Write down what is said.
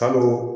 Kalo